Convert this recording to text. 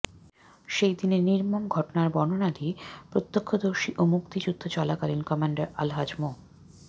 সেই দিনের নির্মম ঘটনার বর্ণনা দিয়ে প্রত্যক্ষদর্শী ও মুক্তিযুদ্ধ চলাকালীন কমান্ডার আলহাজ্ব মো